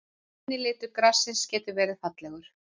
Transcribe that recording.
Græni litur grassins getur verið fallegur.